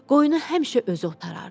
Qoyunu həmişə özü otarardı.